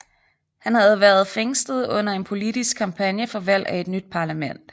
Han havde været fængslet under en politisk kampagne for valg af et nyt parlament